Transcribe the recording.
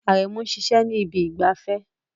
Aremu ń ṣiṣẹ́ ní ibi ìgbafẹ́